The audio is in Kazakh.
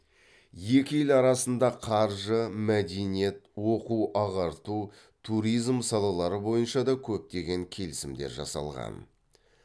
екі ел арасында қаржы мәдениет оқу ағарту туризм салалары бойынша да көптеген келісімдер жасалған